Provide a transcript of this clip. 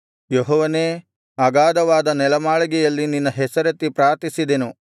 ಯೆಹೋವನೇ ಅಗಾಧವಾದ ನೆಲಮಾಳಿಗೆಯಲ್ಲಿ ನಿನ್ನ ಹೆಸರೆತ್ತಿ ಪ್ರಾರ್ಥಿಸಿದೆನು